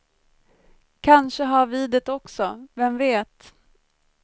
Kanske har vi det också, vem vet.